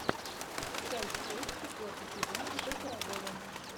часть шесть четвертый сезон ип пирогова